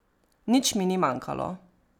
Nič mi ni manjkalo.